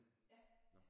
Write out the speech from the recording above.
Ja